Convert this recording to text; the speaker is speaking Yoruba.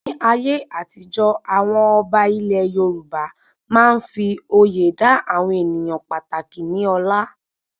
Ní ayé àtijọ́, àwọn ọba ilẹ Yorùbá máa n fí oyè dá àwọn ènìyàn pàtàkì ní ọlá